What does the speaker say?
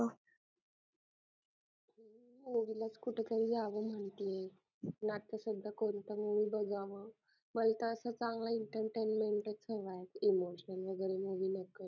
movie लाच कुठेतरी जाईल म्हणते कोणता movie बघा मग वैताग चांगला entertainment होय ना emtional